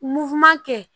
kɛ